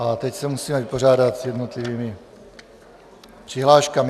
Ale teď se musíme vypořádat s jednotlivými přihláškami.